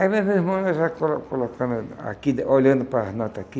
Aí meus irmãos já colo colocaram aqui, olhando para as notas aqui.